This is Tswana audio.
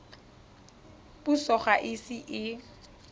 puso ga e ise e